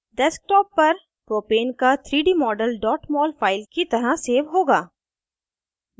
desktop पर propane का 3d model mol file की तरह सेव होगा